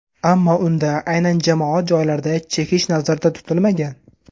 Ammo unda aynan jamoat joylarida chekish nazarda tutilmagan.